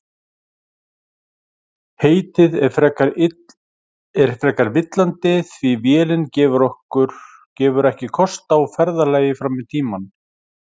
Heitið er frekar villandi því vélin gefur ekki kost á ferðalagi fram í tímann.